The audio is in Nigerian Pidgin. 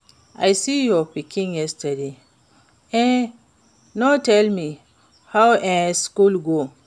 I see your pikin yesterday, e no tell me how e school go.